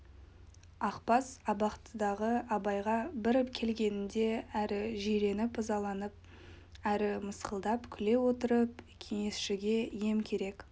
ақбас абақтыдағы абайға бір келгенінде әрі жиреніп ызаланып әрі мысқылдап күле отырып кеңесшіге ем керек